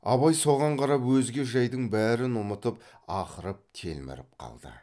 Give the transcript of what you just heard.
абай соған қарап өзге жайдың бәрін ұмытып ақырып телміріп қалды